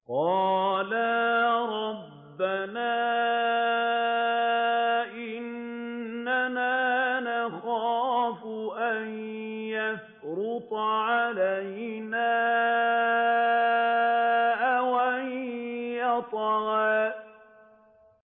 قَالَا رَبَّنَا إِنَّنَا نَخَافُ أَن يَفْرُطَ عَلَيْنَا أَوْ أَن يَطْغَىٰ